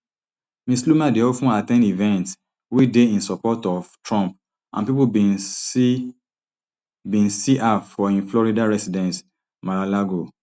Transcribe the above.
ms loomer dey of ten at ten d events wey dey in support of trump and pipo bin see bin see her for im florida residence maralago